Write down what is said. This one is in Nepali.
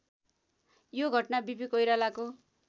यो घटना वीपी कोइरालाको